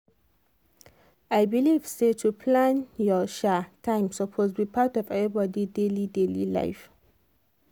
i believe say to plan your um time suppose be part of everybody daily daily life